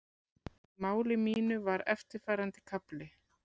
Í máli mínu var eftirfarandi kafli